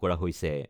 কৰা হৈছে।